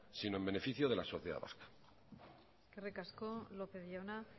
sino en beneficio de la sociedad vasca eskerrik asko lópez jauna